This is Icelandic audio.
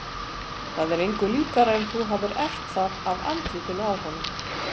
Það er engu líkara en þú hafir erft það af andlitinu á honum.